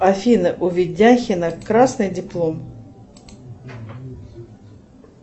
афина у видяхина красный диплом